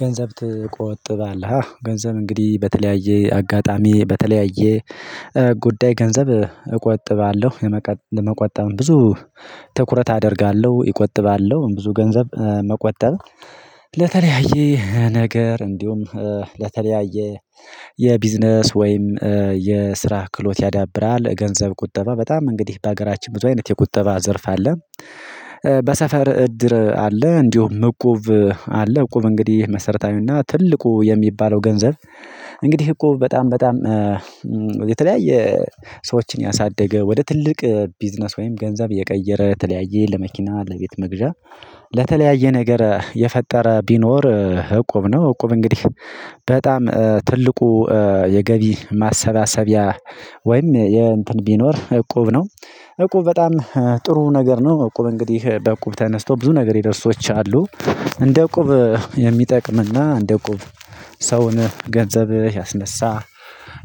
ገንዘብ ትቆጥባለህ? አዎ ገንዘብ እንግዲህ በተለያየ አጋጣሚ በተለያየ ጉዳይ ገንዘብ እቆጥባለሁ። ለመቆጠብም ብዙ ትኩረት አደርጋለሁ። እቆጥባለሁ ብዙ ገንዘብ መቆጠብ ለተለያየ ነገር፤ እንዲሁም ለተለያየ የቢዝነስ ወይም የስራ ክህሎት ያዳብራል። ገንዘብ ቁጠባ በጣም እንግዲህ በሀገራችን ብዙ አይነት የቁጠባ ዘርፍ አለ። በሰፈር እድር አለ እንዲሁም እቁብ አለ። እቁብ እንግዲህ መሰረታዊውና ትልቁ የሚባለው ገንዘብ እንግዲህ እቁብ በጣም በጣም የተለያየ ሰዎችን ያሳደገ ወደ ትልቅ ቢዝነስ ወይም ገንዘብ የቀየረ የተለያዬ ለመኪና፣ ለቤት መግዣ ለተለያየ ነገር የፈጠረ ቢኖር እቁብ ነው። እቁብ እንግዲህ በጣም ትልቁ የገቢ ማሰባሰቢያ ወይም የ እንትን ቢኖር እቁብ ነው። እቁብ በጣም ጥሩ ነገር ነው እቁብ እንግዲህ በእቁብ ተነስተው ብዙ ነገር የደረሱ ሰዎች አሉ። እንደ እቁብ የሚጠቅምና እንደ እቁብ ሰውን ገንዘብ ያስነሳ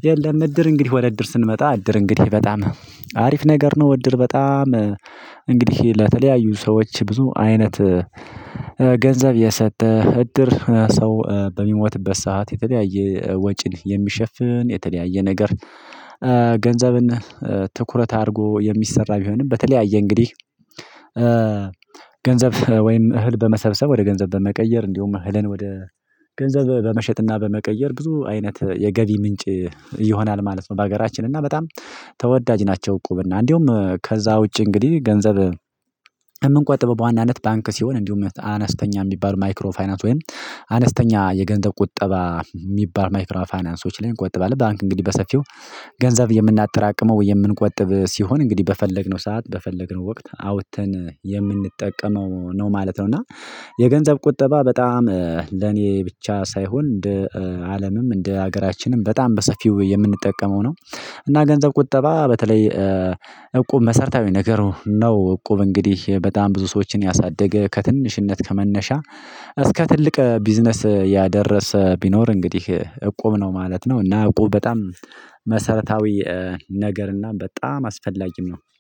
የለም። እድር እንግዲህ ወደ እድር ስንመጣ እድር እንግዲህ በጣም አሪፍ ነገር ነው። እድር በጣም እንግዲህ ለተለያዩ ሰዎች ብዙ አይነት ገንዘብ የሰጠ እድር ሰው በሚሞትበት ሰዓት የተለያየ ወጪን የሚሸፍን የተለያየ ነገር ገንዘብን ትኩረት አድርጎ የሚሰራ ቢሆንም በተለያየ እንግዲህ ገንዘብ ወይም እህል በመሰብሰብ ወደ ገንዘብ በመቀየር እንዲሁም እህልን ወደ ገንዘብ በመሸጥና በመቀየር ብዙ አይነት የገቢ ምንጭ ይሆናል ማለት ነው በሀገራችን። እና በጣም ተወዳጅ ናቸው እቁብ እና እንዲሁም ከዛ ውጪ እንግዲህ ገንዘብ የምንቆጥበው በዋናነት ባንክ ሲሆን እንዲሁም አነስተኛ የሚባሉ ማይክሮ ፋይናንስ ወይም አነስተኛ የገንዘብ ቁጠባ የሚባል ማይክሮ ፋይናንሶች ላይ እንቆጥባለን። ባንክ እንግዲህ በሰፊው ገንዘብ የምናጠራቅመው የምንቆጥብ ሲሆን እንግዲህ በፈለግነው ሰዓት በፈለግነው ወቅት አውጥተን የምንጠቀመው ነው ማለት ነው። እና የገንዘብ ቁጠባ በጣም ለኔ ብቻ ሳይሆን እንደ አለምም እንደ ሀገራችንም በጣም በሰፊው የምንጠቀመው ነው። እና ገንዘብ ቁጠባ በተለይ እቁብ መሰረታዊ ነገሩ ነው እቁብ እንግዲህ በጣም ብዙ ሰዎችን ያሳደገ ከትንሽነት ከመነሻ እስከ ትልቅ ቢዝነስ ያደረሰ ቢኖር እንግዲህ እቁብ ነው ማለት ነው እና እቁብ በጣም መሰረታዊ ነገር እና በጣም አስፈላጊም ነው።